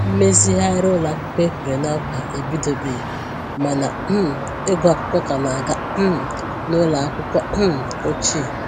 Mmezighari ụlọ akwụkwọ e kwèrè na nkwa ebidobeghi ma na um ịgụ akwụkwọ ka na aga um n'ụlọ akwụkwọ um ochie.